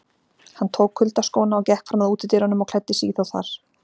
Hann tók kuyldaskóna og gekk fram að útidyrunum og klæddi sig í þá þar.